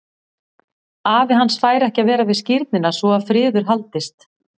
Afi hans fær ekki að vera við skírnina svo að friður haldist.